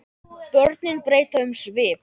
Börnin breyta um svip.